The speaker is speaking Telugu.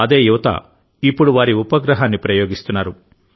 అదే యువత ఇప్పుడు వారి ఉపగ్రహాన్ని ప్రయోగిస్తున్నారు